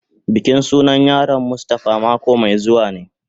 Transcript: Bikin sunan yaron mustafa mako mai zuwa ne.